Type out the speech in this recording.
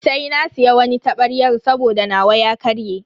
Sai na siya wani tabaryan saboda nawa ya karye.